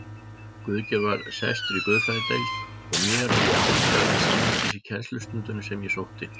Guðgeir var sestur í guðfræðideild og mér oftlega til samlætis í kennslustundum sem ég sótti.